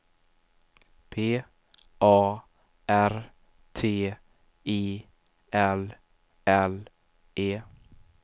P A R T I L L E